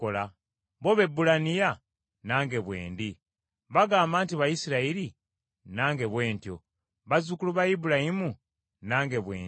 Bo Baebbulaniya? Nange bwe ndi. Bagamba nti Bayisirayiri? Nange bwe ntyo. Bazzukulu ba Ibulayimu? Nange bwe ndi.